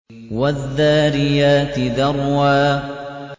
وَالذَّارِيَاتِ ذَرْوًا